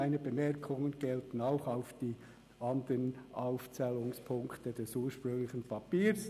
Meine Bemerkungen gelten auch für die anderen Aufzählungspunkte des ursprünglichen Papiers.